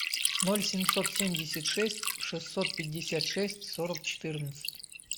ноль семьсот семьдесят шесть шестьсот пятьдесят шесть сорок четырнадцать